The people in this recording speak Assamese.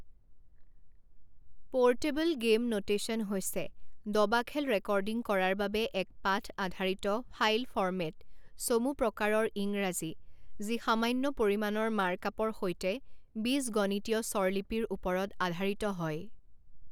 পোৰ্টেবল গেম নোটেচন হৈছে দবা খেল ৰেকৰ্ডিং কৰাৰ বাবে এক পাঠ আধাৰিত ফাইল ফৰ্মেট চমু প্ৰকাৰৰ ইংৰাজী যি সামান্য পৰিমাণৰ মাৰ্কআপৰ সৈতে বীজগণিতীয় স্বৰলিপিৰ ওপৰত আধাৰিত হয়।